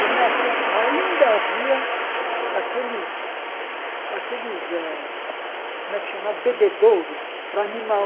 E nessa ainda havia aqueles aqueles eh, como é que chama, bebedouros para animal.